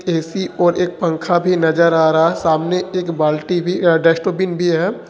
AC और एक पंखा भी नजर आ रहा है सामने एक बाल्टी भी डस्टबिन भी है।